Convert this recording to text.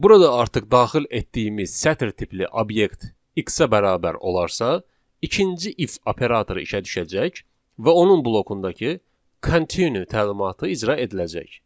Burada artıq daxil etdiyimiz sətr tipli obyekt x-ə bərabər olarsa, ikinci if operatoru işə düşəcək və onun blokundakı continue təlimatı icra ediləcək.